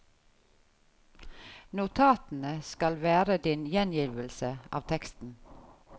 Notatene skal være din gjengivelse av teksten.